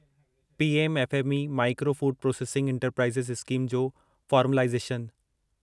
PM FME micro food processing enterprises scheme जो formalisation